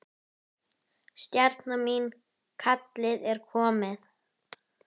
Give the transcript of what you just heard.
Stjana mín, kallið er komið.